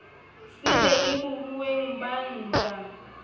sele le bohweng ba ntja